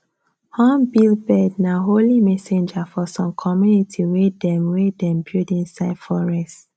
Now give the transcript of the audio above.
hornbill bird nah holy messenger for some community wey dem wey dem build inside forest